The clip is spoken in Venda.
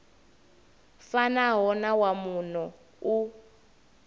fanaho na wa muno u